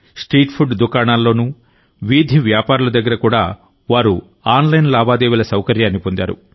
street food దుకాణాల్లోనూ వీధి వ్యాపారుల దగ్గర కూడావారు ఆన్లైన్ లావాదేవీల సౌకర్యాన్ని పొందారు